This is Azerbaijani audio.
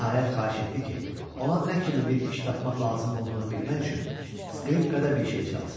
Nəhayət xahiş etdi ki, ona nə kimi bir iş tapmaq lazım olduğunu bilmək üçün skripkada bir şey çalsın.